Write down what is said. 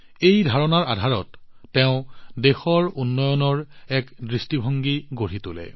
এই ধাৰণাটোৰ আধাৰত তেওঁ দেশৰ উন্নয়নৰ এক দৃষ্টিভংগী গঢ়ি তোলে